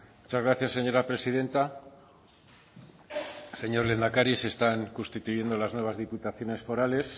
muchas gracias señora presidenta señor lehendakari se están constituyendo las nuevas diputaciones forales